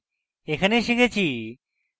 in tutorial শিখেছি: